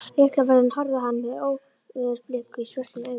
Lyklavörðurinn horfði á hann með óveðursbliku í svörtum augunum.